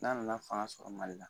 N'a nana fanga sɔrɔ Mali la